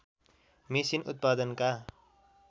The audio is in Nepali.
मेसिन उत्पादनका